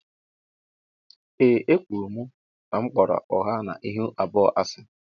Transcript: Ee e kwụrụ m na m kpọrọ ụgha na ịhụ abụọ asi.